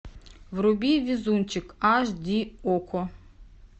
вруби везунчик аш ди окко